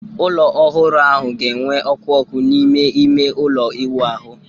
Ụlọ ọhụrụ ahụ ga-enwe ọkụ ọkụ n'ime ime ụlọ ịwụ ahụ